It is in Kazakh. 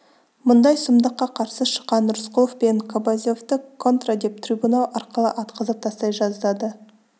мұндай сұмдыққа қарсы шыққан рысқұлов пен кобозевты контра деп трибунал арқылы атқызып тастай жаздады